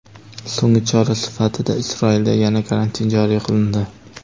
So‘nggi chora sifatida Isroilda yana karantin joriy qilindi.